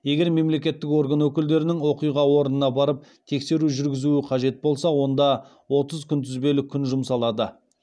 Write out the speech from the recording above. егер мемлекеттік орган өкілдерінің оқиға орнына барып тексеру жүргізуі қажет болса онда отыз күнтізбелік күн жұмсалады